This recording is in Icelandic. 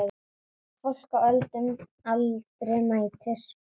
Fólk á öllum aldri mætir.